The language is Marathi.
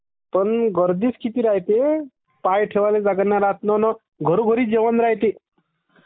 पण गर्दीच किती राह्यते....पाय ठेवायले जागा नाही राह्यते..........